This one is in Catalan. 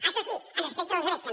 això sí amb respecte dels drets també